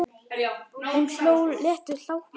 Hún hló léttum hlátri.